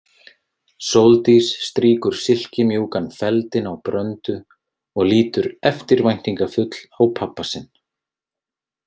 Sóldís strýkur silkimjúkan feldinn á Bröndu og lítur eftirvæntingafull á pabba sinn.